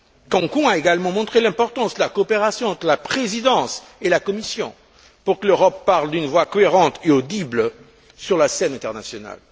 Cancún a également montré l'importance de la coopération entre la Présidence et la Commission pour que l'Europe parle d'une voix cohérente et audible sur la scène internationale.